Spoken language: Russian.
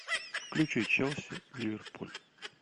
включи челси ливерпуль